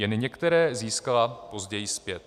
Jen některé získala později zpět.